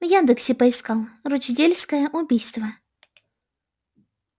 в яндексе поискал рочдельская убийство